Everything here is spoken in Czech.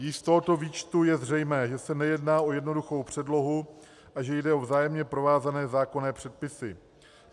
Již z tohoto výčtu je zřejmé, že se nejedná o jednoduchou předlohu a že jde o vzájemně provázané zákonné předpisy.